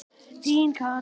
Þín Katrín.